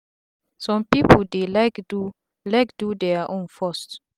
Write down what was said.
sum pipu dey like do like do dia own first